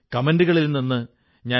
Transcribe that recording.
ഉദാഹരണത്തിന് ഖാദി